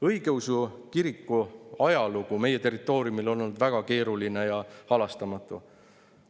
Õigeusu kiriku ajalugu meie territooriumil on olnud väga keeruline ja halastamatu.